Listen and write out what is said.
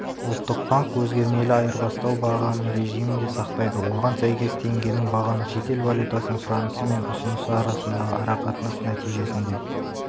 ұлттық банк еркін өзгермелі айырбастау бағамы режімін де сақтайды оған сәйкес теңгенің бағамы шетел валютасының сұранысы мен ұсынысы арасындағы арақатынас нәтижесінде